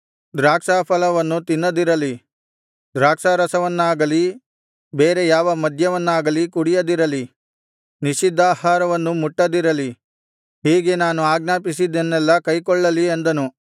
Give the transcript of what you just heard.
ದ್ರಾಕ್ಷಾಫಲವನ್ನು ತಿನ್ನದಿರಲಿ ದ್ರಾಕ್ಷಾರಸವನ್ನಾಗಲಿ ಬೇರೆ ಯಾವ ಮದ್ಯವನ್ನಾಗಲಿ ಕುಡಿಯದಿರಲಿ ನಿಷಿದ್ಧಾಹಾರವನ್ನು ಮುಟ್ಟದಿರಲಿ ಹೀಗೆ ನಾನು ಆಜ್ಞಾಪಿಸಿದ್ದನ್ನೆಲ್ಲಾ ಕೈಕೊಳ್ಳಲಿ ಅಂದನು